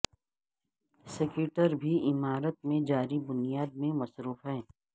سکیٹر بھی عمارت میں جاری بنیاد پر مصروف ہیں